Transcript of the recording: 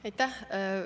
Aitäh!